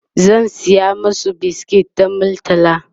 zan saya masu biskit ta murtala